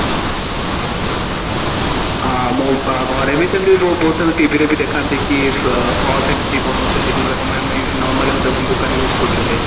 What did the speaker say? ହଁ ମୁଁ ଘରେ ବି ସେମିତି ବହୁତ ଥର TV ରେ ବି କି sauce ଏଇମିତି ବନଉଛନ୍ତି ଯୋଉ ଗୁଡ ତମେ ଆମେ normally ଦୋକାନ ଗୁଡା use କରୁଛନ୍ତି